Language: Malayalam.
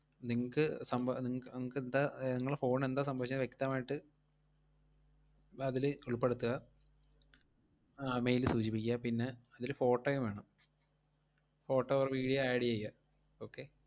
നിങ്ങക്ക് സംഭ~ നിങ്ങ~ നിങ്ങക്കെന്താ ഏർ ~ങ്ങളെ phone ന് എന്താ സംഭവിച്ചേന്നു വ്യക്തമായിട്ട് വ~ അതില് ഉൾപ്പെടുത്തുക ആ mail ല് സൂചിപ്പിക്കുക. പിന്നെ അതില് photo യും വേണം photo or video add ചെയ്യ okay